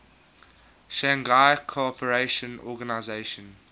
shanghai cooperation organization